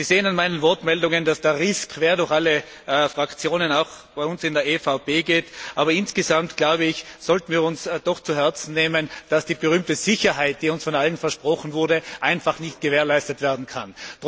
Sie sehen an meinen Ausführungen, dass der Riss quer durch alle Fraktionen, auch durch die EVP, geht, aber insgesamt glaube ich, sollten wir uns doch zu Herzen nehmen, dass die berühmte Sicherheit, die uns von allen versprochen wurde, einfach nicht gewährleistet werden kann.